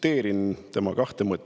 Tsiteerin tema kahte mõtet.